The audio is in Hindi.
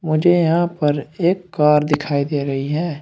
मुझे यहां पर एक कार दिखाई दे रही है।